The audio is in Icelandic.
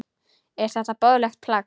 Er þetta boðlegt plagg?